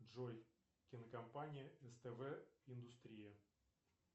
джой кинокомпания ств индустрия